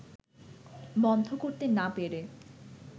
বন্ধ করতে না পেরে